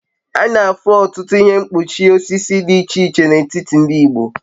A na-afụ ọtụtụ ihe mkpuchi osisi dị iche iche n'etiti ndị Igbo